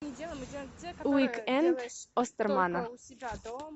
уик энд остермана